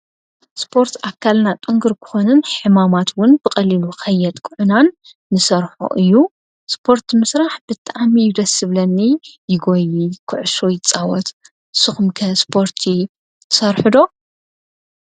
ስፖርት ኣካልና ጥንኩር ክኾንን ሕማማት ውን ብቐሊሉ ኸየጥቅዑናን ንሰርሖ እዩ ።ስፖርት ምስራሕ ብጣዕሚ እዩ ደስ ዝብለኒ። ይጎዪ፣ ኩዕሾ ይፃወት ንስኹም ከ ስፖርቲ ትሰርሖ ዶ?